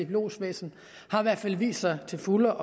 lodsvæsen i hvert fald har vist sig til fulde